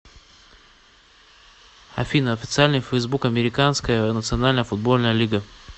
афина официальный фейсбук американская национальная футбольная лига